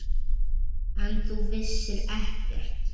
En þú vissir ekkert.